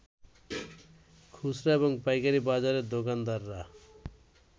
খুচরা এবং পাইকারি বাজারের দোকানদাররা